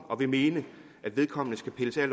og vil mene at vedkommende skal pilles af